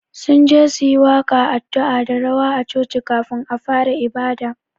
Sunje su yi waƙa, addu'a da rawa a choci kafun a fara ibada